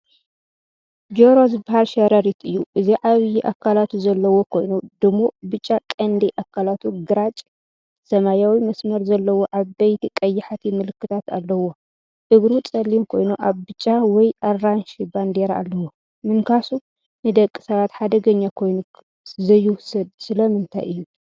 ጆሮ ዝበሃል ሸረሪት እዩ። እዚ ዓቢ ኣካላቱ ዘለዎ ኮይኑ፡ ድሙቕ ብጫ ቀንዲ ኣካላቱ፡ ግራጭ-ሰማያዊ መስመር ዘለዎን ዓበይቲ ቀያሕቲ ምልክታትን ኣለዎ። እግሩ ጸሊም ኮይኑ ብጫ ወይ ኣራንሺ ባንዴራ ኣለዎ። ምንካሱ ንደቂ ሰባት ሓደገኛ ኰይኑ ዘይውሰድ ስለምንታይ እዩ፧